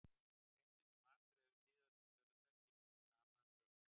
Rétt eins og matur hefur síðasta söludag gildir það sama um lyf.